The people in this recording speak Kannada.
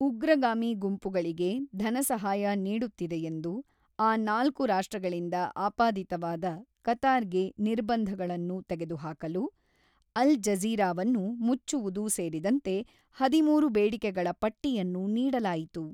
ಉಗ್ರಗಾಮಿ ಗುಂಪುಗಳಿಗೆ ಧನಸಹಾಯ ನೀಡುತ್ತಿದೆಯೆಂದು ಆ ನಾಲ್ಕು ರಾಷ್ಟ್ರಗಳಿಂದ ಆಪಾದಿತವಾದ ಕತಾರ್‌ಗೆ ನಿರ್ಬಂಧಗಳನ್ನು ತೆಗೆದುಹಾಕಲು ಅಲ್ ಜಜೀರಾವನ್ನು ಮುಚ್ಚುವುದು ಸೇರಿದಂತೆ ಹದಿಮೂರು ಬೇಡಿಕೆಗಳ ಪಟ್ಟಿಯನ್ನು ನೀಡಲಾಯಿತು.